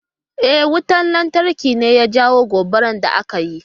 E, wutan lantarki ne ya jawo gobarar da aka yi.